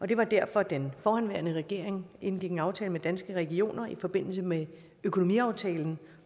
det var derfor at den forhenværende regering indgik en aftale med danske regioner i forbindelse med økonomiaftalen